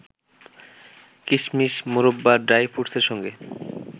কিশমিশ, মোরব্বা, ড্রাই ফ্রুটসের সঙ্গে